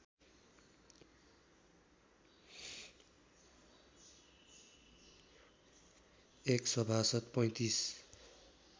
एक सभासद् ३५